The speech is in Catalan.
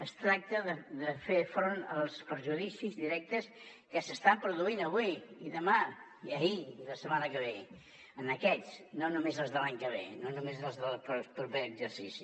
es tracta de fer front als perjudicis directes que s’estan produint avui i demà i ahir i la setmana que ve en aquests no només els de l’any que ve no només els del proper exercici